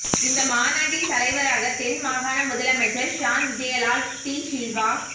இந்த மாநாட்டின் தலைவராக தென் மாகாண முதலமைச்சர் ஷான் விஜயலால் டி சில்வா